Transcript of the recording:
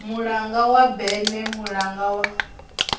mulanga wa berne mulanga wa